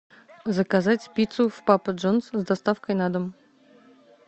заказать пиццу в папа джонс с доставкой на дом